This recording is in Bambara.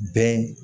Bɛn